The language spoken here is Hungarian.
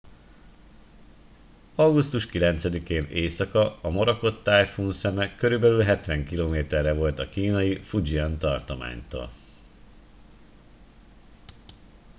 augusztus 9 én éjszaka a morakot tájfun szeme körülbelül hetven kilométerre volt a kínai fujian tartománytól